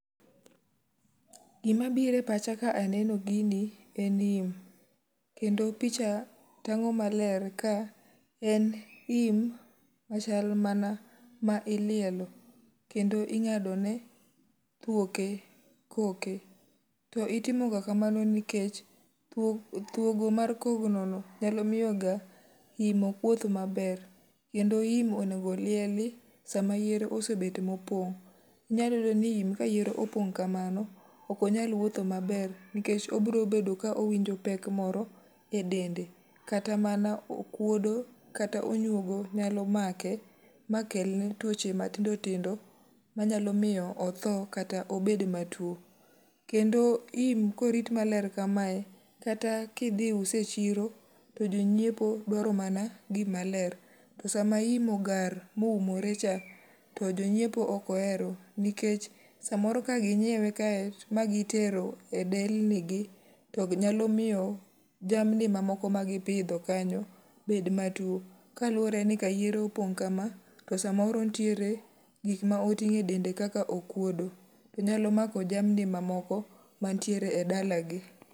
Gima biro e pacha ka aneno gini, en ni, kendo picha tangó maler ka en im, machal mana ma ilielo. Kendo ingádone thuoke koke. Itimoga kamano nikech, thuogo mar kogno nyalo miyo ga im ok wuoth maber. Kendo im onego lieli sama yiere osebet mopong'. Inyalo yudo ni im ka yiere opong' kamano, ok onyal wuotho maber, nikech obiro bedo ka owinjo pek moro e dende. Kata mana okwodo, kata onywogo nyalo make, ma kelne twoche matindo tindo manyalo miyo otho kata obed matwo. Kendo im, korit maler kamae, kata ka idhi use echiro, to jonyiepo dwaro mana gima ler. To sama im ogar ma oumore cha, to jonyiepo ok ohero, nikech samoro ka ginyiewe kae, ma gitero e delni gi, to nyalo miyo jamni gi ma moko ma gipidho kanyo bed matwo. Kaluwore ni ka yiere opong' kama, to samoro nitiere gik ma otingó e dende kaka okwodo. Onyalo mako jamni ma moko, ma nitiere e dalagi.